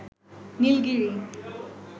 Nilgiri